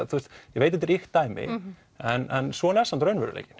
ég veit þetta er ýkt dæmi en svona er samt raunveruleikinn